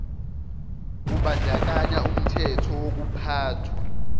kubandakanya umthetho wokuphathwa